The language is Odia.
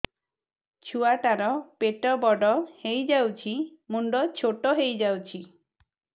ଛୁଆ ଟା ର ପେଟ ବଡ ହେଇଯାଉଛି ମୁଣ୍ଡ ଛୋଟ ହେଇଯାଉଛି